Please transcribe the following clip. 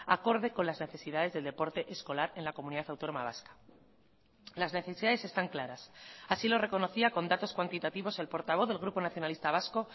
acorde con las necesidades del deporte escolar en la comunidad autónoma vasca las necesidades están claras así lo reconocía con datos cuantitativos el portavoz del grupo nacionalista vasco